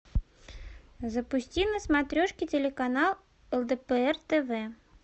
запусти на смотрешке телеканал лдпр тв